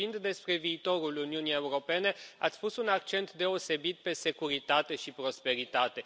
Vorbind despre viitorul Uniunii Europene, ați pus un accent deosebit pe securitate și prosperitate.